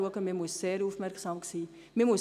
Ich komme zum Schluss: